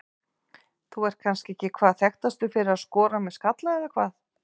Þú ert kannski ekki hvað þekktastur fyrir að skora með skalla eða hvað?